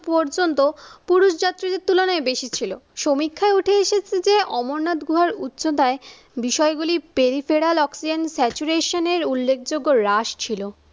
পর্যন্ত পুরুষ জাতির তুলনায় বেশি ছিল সমীক্ষায় উঠে এসে যে, অমরনাথ গুহার উচ্চতায় বিষয়গুলি পেরিপেলা অক্সিজেন সেচুরেশন উল্লেখযোগ্য রাস ছিল।